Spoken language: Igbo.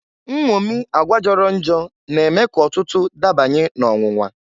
Nnwomi agwa jọrọ njọ na-eme k'ọtụtụ dabanye n'ọnwụnwa.